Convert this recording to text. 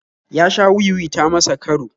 Ya sha wi-wi ta masa karo